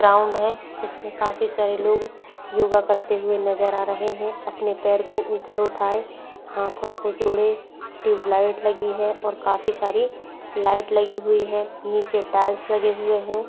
Ground है जिसमें काफी सारे लोग योगा करते हुए नजर आ रहे हैं। अपने पैर को ऊपर उठाए हाथों को जोड़ें ट्यूबलाइट लगी है और काफी सारी लाइट लगी हुई है नीचे टाइल्स लगे हुए है।